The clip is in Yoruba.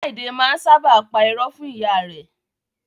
Friday máa n sábà pa irọ́ fún ìyá rẹ.